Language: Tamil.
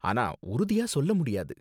ஆனா உறுதியா சொல்ல முடியாது.